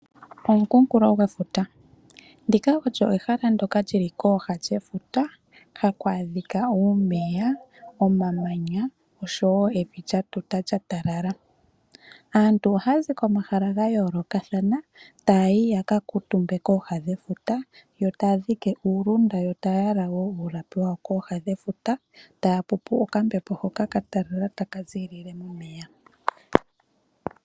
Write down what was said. Omukunkulo gwefuta, ndika olyo ehala ndoka lyili kooha dhefuta haku adhika uumeya, omamanya oshowo evi lya tuta lya talala. Aantu ohaya zi komahala ga yoolokathana taayi ya ka kuutumbe kooha dhefuta yo taya dhike uundunda yo taya yala wo uulapi wayo kooha dhefuta, taya pupu okambepo haka ka talala taka ziilile momeya.